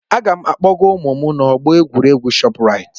Aga m akpọga ụmụ m n'ọgbọ egwuregwu Shoprite.